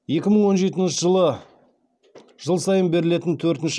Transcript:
екі мың он жетінші жылы жыл сайын берілетін төртінші